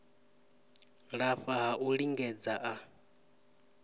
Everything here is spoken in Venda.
lafha ha u lingedza a